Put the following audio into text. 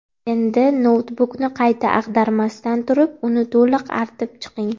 Endi noutbukni qayta ag‘darmasdan turib, uni to‘liq artib chiqing.